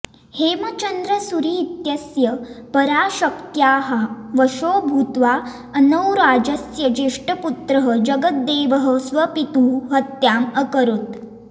हेमचन्द्र सूरि इत्यस्य पराशक्त्याः वशो भूत्वा अर्णोराजस्य ज्येष्ठपुत्रः जगद्देवः स्वपितुः हत्याम् अकरोत्